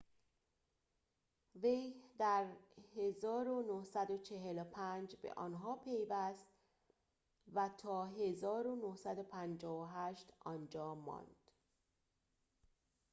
وی در ۱۹۴۵ به آن‌ها پیوست و تا ۱۹۵۸ آنجا ماند